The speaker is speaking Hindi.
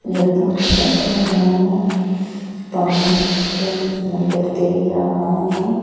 लड़का बैठा हुआ है पानी का समंदर देख रहा है।